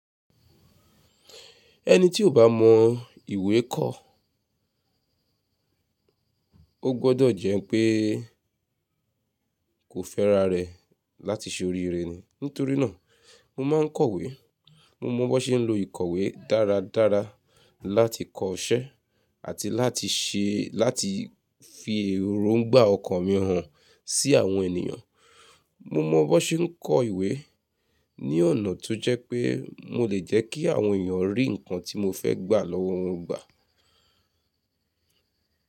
Ẹni tí o bá mọ ìwé kọ́, ó gbọ́dọ̀ jẹ́ pé kò fẹ́ra rẹ̀ láti ṣe oríire ni. Nítorí náà, mo máa ń kọ̀we. Mo mọ bó ṣe ń lo ìkọ̀wé dáradára láti kọ ṣẹ́ àti se. Láti fi èrò ń gbà ọkàn mi hàn sí àwọn ènìyàn. Mo mọ bó ṣe ń kọ ìwé ní ọ̀nà tó jẹ́ pé mo lè jẹ́ kí àwọn ènìyàn rí nǹkan tí mo fẹ́ gbà lọ́wọ́ wọn gbà.